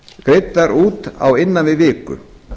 greiddar út á innan við viku